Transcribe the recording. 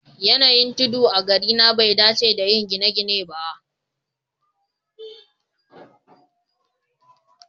Yanayin tudu a garina bai dace da yin gine-gine ba